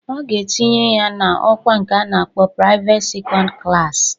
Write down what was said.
..a ga-etinye ya n'ọkwa nke a na-akpọ praiveti sekọnd klassi